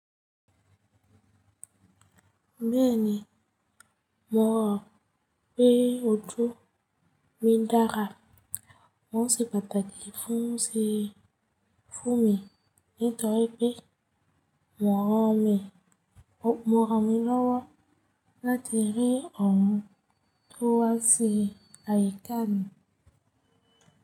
Bẹ́ẹ̀ni, mò rọ̀ pé ojú mi dára. N ó ṣe pàtàkì fún mi ní torí pé mò rọ̀mí lọ́wọ́ láti rí ohun tó wà sí àyíká mi.